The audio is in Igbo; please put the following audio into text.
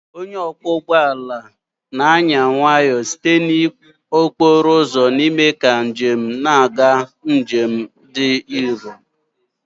Onye ọkwọ ụgbọ ala na-anya nwayọọ site na okporo ụzọ n'ime ka ndị njem na-aga njem dị nro